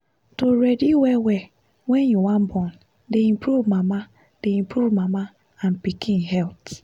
to ready well well wen you wan born dey improve mama dey improve mama and pikin health